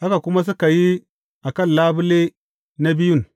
haka kuma suka yi a kan labule na biyun.